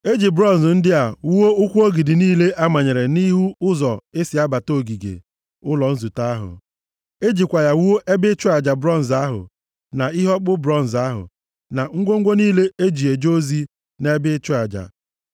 E ji bronz ndị a wuo ụkwụ ogidi niile a manyere nʼihu ụzọ e si abata ogige ụlọ nzute ahụ. E jikwa ya wuo ebe ịchụ aja bronz ahụ, na ihe ọkpụkpụ bronz ahụ, na ngwongwo niile e ji eje ozi nʼebe ịchụ aja,